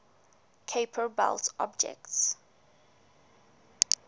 kuiper belt objects